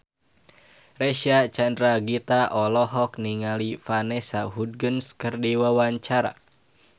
Reysa Chandragitta olohok ningali Vanessa Hudgens keur diwawancara